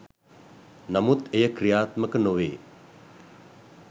නමුත් එය ක්‍රියාත්මක නොවේ.